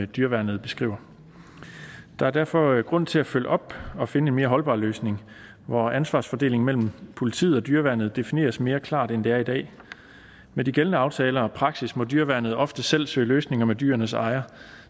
dyreværnet beskriver der er derfor grund til at følge op og finde en mere holdbar løsning hvor ansvarsfordelingen mellem politiet og dyreværnet defineres mere klart end det er i dag med de gældende aftaler og praksis må dyreværnet ofte selv søge løsninger med dyrenes ejer